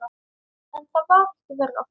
En það var ekki verra.